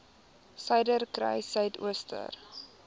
suiderkruissuidooster